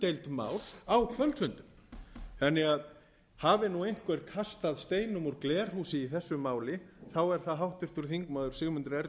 mál á kvöldfundum það hefur einhver kastað steinum úr glerhúsi í þessu máli þá er það háttvirtur þingmaður sigmundur ernir